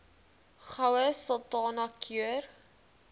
goue sultana keur